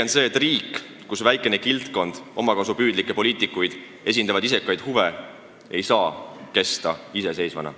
On selge, et riik, kus väikene kildkond omakasupüüdlikke poliitikuid esindab vaid omaenda isekaid huve, ei saa kesta iseseisvana.